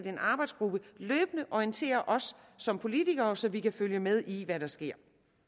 en arbejdsgruppe løbende orienterer os som politikere så vi kan følge med i hvad der sker